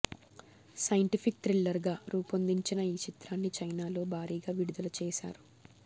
scientific థ్రిల్లర్గా రూపొందించిన ఈ చిత్రాన్ని చైనాలో భారీగా విడుదల చేశారు